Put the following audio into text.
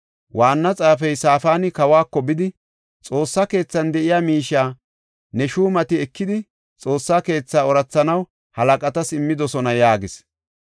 Waanna xaafey Safaani kawako bidi, “Xoossa keethan de7iya miishiya ne shuumati ekidi, Xoossa keetha oorathanaw halaqatas immidosona” yaagis.